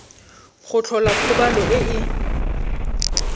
go tlhola kgobalo e e